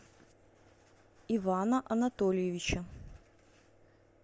ивана анатольевича